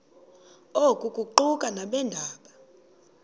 oku kuquka nabeendaba